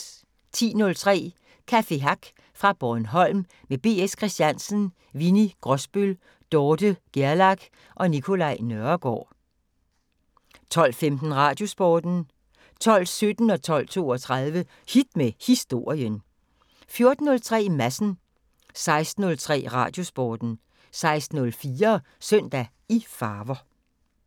10:03: Café Hack fra Bornholm med B.S. Christiansen, Winni Grosbøll, Dorthe Gerlach og Nicolai Nørregaard 12:15: Radiosporten 12:17: Hit med Historien 12:32: Hit med Historien 14:03: Madsen 16:03: Radiosporten 16:04: Søndag i farver